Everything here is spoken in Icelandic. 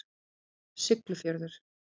Siglufjörður